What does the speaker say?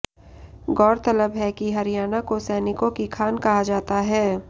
गौरतलब है कि हरियाणा को सैनिकों की खान कहा जाता है